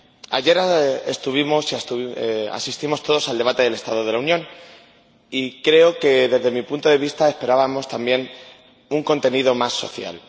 Ayer asistimos todos al debate del estado de la Unión, y creo que, desde mi punto de vista, esperábamos también un contenido más social.